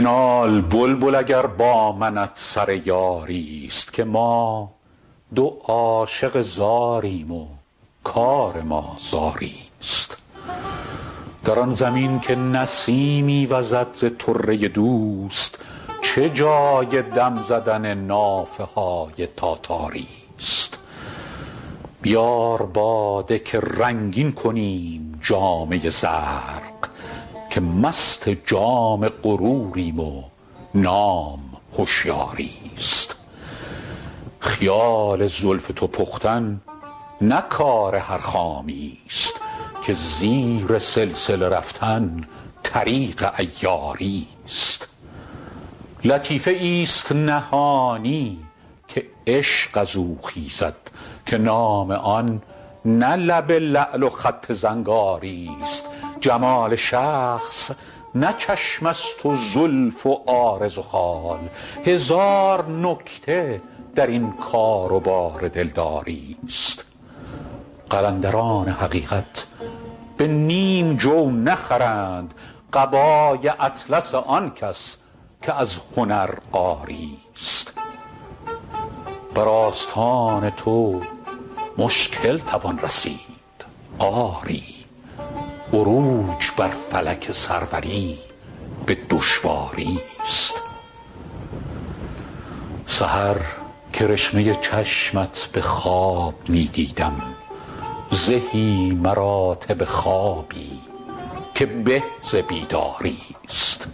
بنال بلبل اگر با منت سر یاری ست که ما دو عاشق زاریم و کار ما زاری ست در آن زمین که نسیمی وزد ز طره دوست چه جای دم زدن نافه های تاتاری ست بیار باده که رنگین کنیم جامه زرق که مست جام غروریم و نام هشیاری ست خیال زلف تو پختن نه کار هر خامی ست که زیر سلسله رفتن طریق عیاری ست لطیفه ای ست نهانی که عشق از او خیزد که نام آن نه لب لعل و خط زنگاری ست جمال شخص نه چشم است و زلف و عارض و خال هزار نکته در این کار و بار دلداری ست قلندران حقیقت به نیم جو نخرند قبای اطلس آن کس که از هنر عاری ست بر آستان تو مشکل توان رسید آری عروج بر فلک سروری به دشواری ست سحر کرشمه چشمت به خواب می دیدم زهی مراتب خوابی که به ز بیداری ست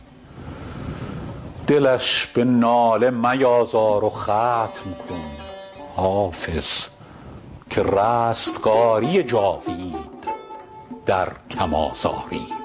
دلش به ناله میازار و ختم کن حافظ که رستگاری جاوید در کم آزاری ست